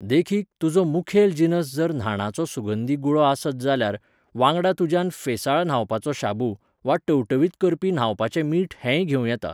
देखीक, तुजो मुखेल जिनस जर न्हाणाचो सुगंधी गुळो आसत जाल्यार, वांगडा तुज्यान फेंसाळ न्हावपाचो शाबू, वा टवटवीत करपी न्हावपाचें मीठ हेंय घेवं येता.